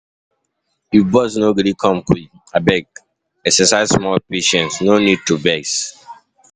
If bus no gree come quick, abeg exercise small patience, no need to vex.